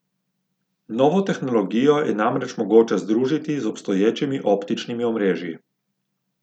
Novo tehnologijo je namreč mogoče združiti z obstoječimi optičnimi omrežji.